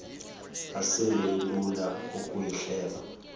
asinto ilula ukuyihleba